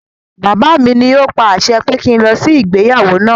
Bàbá mi ní o pa àṣẹ pé kí n lọ sí ìgbéyàwó náà.